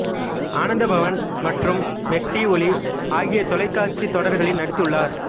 ஆனந்த பவன் மற்றும் மெட்டி ஒலி ஆகிய தொலைக்காட்சி தொடர்களில் நடித்துள்ளார்